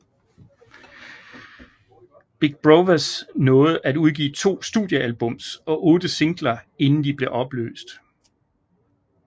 Big Brovaz nåede at udgive to studiealbums og otte singler inden de blev opløst